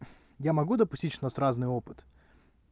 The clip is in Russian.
я могу допустить что у нас разный опыт